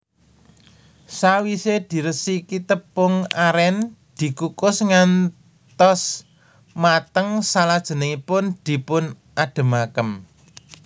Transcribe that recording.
Sawise diresiki tepung aren dikukus ngantos mateng salajengipun dipun adhemaken